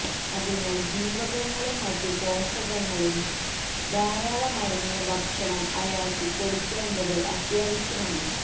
അതിനാൽ ജീവകങ്ങളും മറ്റു പോഷകങ്ങളും ധാരാളം അടങ്ങിയ ഭക്ഷണം അയാൾക്ക് കൊടുക്കേണ്ടത് അത്യാവശ്യമാണ്